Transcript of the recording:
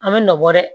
A bɛ nɔ bɔ dɛ